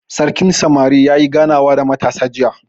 Sarkin samari yayi ganawa da matasa jiya.